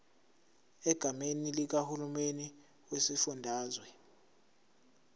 egameni likahulumeni wesifundazwe